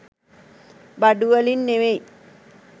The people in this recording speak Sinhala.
බඩු වලින් නෙවෙයි.